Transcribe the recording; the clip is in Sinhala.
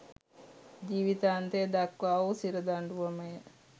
ජීවිතාන්තය දක්වා වූ සිරදඬුවමය